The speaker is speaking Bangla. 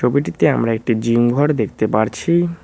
ছবিটিতে আমরা একটি জিম ঘর দেখতে পাচ্ছি।